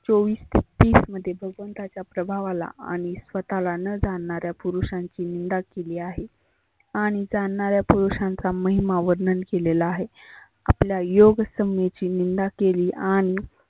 चिवीस ते तीस मध्ये भगवंताच्या प्रभावाला आणि स्वतः ला न जाणाऱ्या पुरुषांची निंदा केली आहे. आणि जाणनाऱ्या पुरुषांचा महीमा वर्णन केलेला आहे. आपल्या योग समेची निंदा केली आणि